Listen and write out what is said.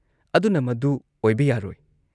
ꯑꯗꯨꯨꯅ ꯃꯗꯨ ꯑꯣꯏꯕ ꯌꯥꯔꯣꯏ ꯫"